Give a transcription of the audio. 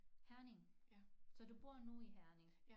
Herning så du bor nu i Herning